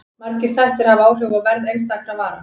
Margir þættir hafa áhrif á verð einstakra vara.